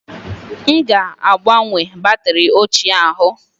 M ga-agbanwe batrị ochie ahụ